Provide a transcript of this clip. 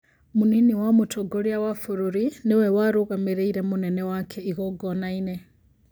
Mũnini wa mũtongoria wa bũrũri nĩwe warũgamĩrĩire mũnene wake igogona-inĩ